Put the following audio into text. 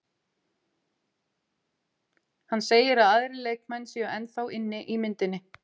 Hann segir að aðrir leikmenn séu ennþá inni í myndinni.